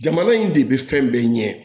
Jamana in de bɛ fɛn bɛɛ ɲɛ